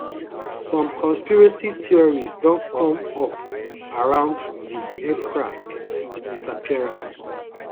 some conspiracy theories don come up around di aircraft disappearance